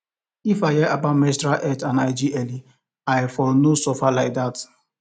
if i hear about menstrual health and hygiene early i no for suffer like that